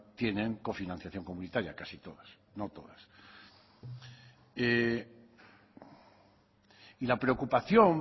tienen cofinanciación comunitaria casi todas no todas y la preocupación